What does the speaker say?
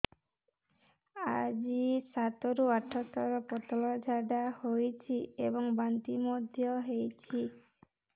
ଆଜି ସାତରୁ ଆଠ ଥର ପତଳା ଝାଡ଼ା ହୋଇଛି ଏବଂ ବାନ୍ତି ମଧ୍ୟ ହେଇଛି